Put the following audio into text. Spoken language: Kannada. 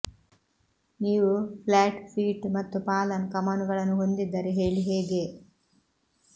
ನೀವು ಫ್ಲಾಟ್ ಫೀಟ್ ಮತ್ತು ಫಾಲನ್ ಕಮಾನುಗಳನ್ನು ಹೊಂದಿದ್ದರೆ ಹೇಳಿ ಹೇಗೆ